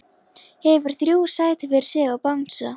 Hefur þrjú sæti fyrir sig og bangsa.